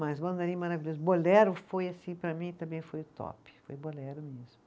Mas Mandarim Maravilhoso, Bolero foi assim para mim, também foi o top, foi Bolero mesmo.